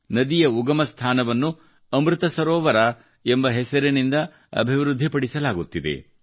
ನದಿಯ ಉಗಮ ಸ್ಥಾನವನ್ನು ಅಮೃತ ಸರೋವರ ಎಂಬ ಹೆಸರಿನಿಂದ ಅಭಿವೃದ್ಧಿಪಡಿಸಲಾಗುತ್ತಿದೆ